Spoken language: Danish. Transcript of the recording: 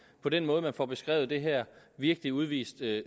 på den måde man får beskrevet det her virkelig udviser